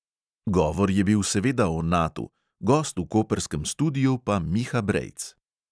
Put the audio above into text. Govor je bil seveda o natu, gost v koprskem studiu pa miha brejc.